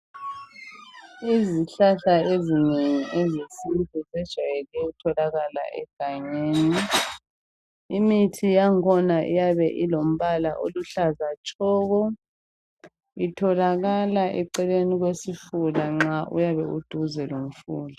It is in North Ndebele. Izihlahla ezinengi ezesintu zijayele ukutholakala egangeni. Imithi yankhona iyabe ilombala oluhlaza tshoko. Itholakala eceleni kwesifula nxa uyabe uduze lomfula.